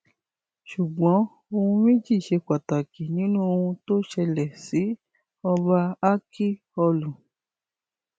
ṣùgbọn ohun méjì ṣe pàtàkì nínú ohun tó ṣẹlẹ sí ọba ákíọlù